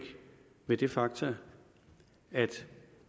ved det faktum at